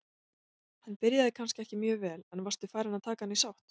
Hann byrjaði kannski ekki mjög vel, en varstu farinn að taka hann í sátt?